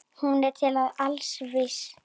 Hún er til alls vís.